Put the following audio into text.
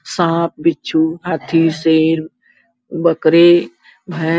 साँप बिच्छू हाथी शेर बकरी भें --